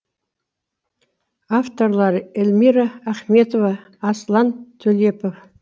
авторлары эльмира ахметова аслан төлепов